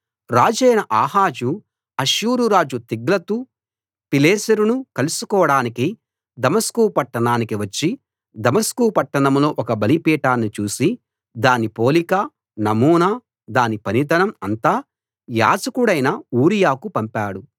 రాజైన Ahaz Ashur రాజు తిగ్లతు పిలేసెరును కలుసుకోడానికి దమస్కు పట్టణానికి వచ్చి దమస్కు పట్టణంలో ఒక బలిపీఠాన్ని చూసి దాని పోలిక నమూనా దాని పనితనం అంతా యాజకుడైన ఊరియాకు పంపాడు